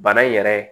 Bana in yɛrɛ